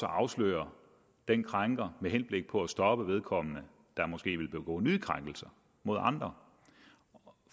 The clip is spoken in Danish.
afsløre den krænker med henblik på at stoppe vedkommende der måske vil begå nye krænkelser mod andre